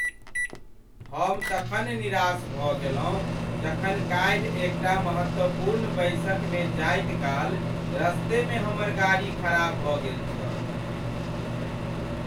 हम तखन निराश भऽ गेलहुँ जखन काल्हि एक टा महत्वपूर्ण बैसकमे जाइत काल रस्तेमे हमर गाड़ी खराब भऽ गेल छल।